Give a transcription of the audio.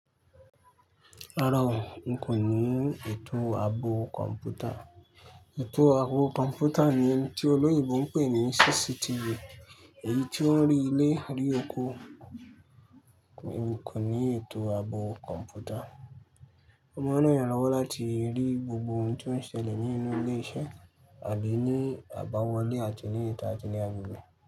Rárá o, n kò ní ètò àbò kọ̀m̀pútà. Ètò àbò kọ̀m̀pútà ní tí olóyèbo ń pè ní CCTV, èyí tí ó ń rí ilé rí okó. Èmi kò ní ètò àbò kọ̀m̀pútà. Oma ń ràn ìyàn lọ́wọ́ láti rí gbogbo ohun tó ń ṣẹlẹ̀ nínú ilé iṣẹ́, àbí ní àbáwọlé àti ní ìta àti ní agbègbè.